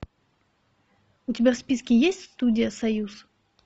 у тебя в списке есть студия союз